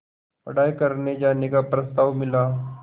पढ़ाई करने जाने का प्रस्ताव मिला